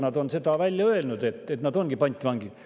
Nad on välja öelnud, et nad ongi pantvangid.